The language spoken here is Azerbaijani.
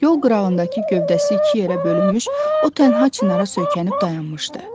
Yol qırağındakı gövdəsi iki yerə bölünmüş o tənha çınara söykənib dayanmışdı.